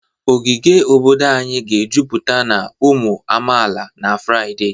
Ogige obodo anyị ga-ejupụta na ụmụ amaala na Fraịde